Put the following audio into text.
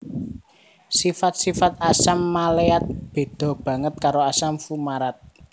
Sifat sifat asam maleat beda banget karo asam fumarat